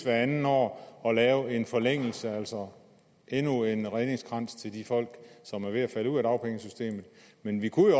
andet år og lave en forlængelse altså endnu en redningskrans til de folk som er ved at falde ud af dagpengesystemet men vi kunne